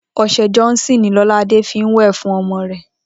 O̩s̩e̩ Johnson ni Ló̩ládé fi ń wè̩ fún o̩mo̩ rè̩